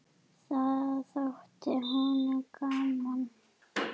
Það þótti honum gaman.